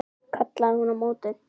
kallaði hún á móti.